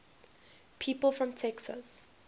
people from texas